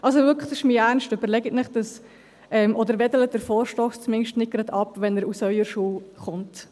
Also wirklich, das ist mein Ernst, überlegen Sie es sich, oder winken Sie den Vorstoss zumindest nicht gleich ab, wenn er aus Ihrer Schule kommt.